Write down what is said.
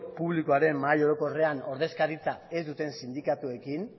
publikoaren mahai orokorrean ordezkaritza ez duten sindikatuekin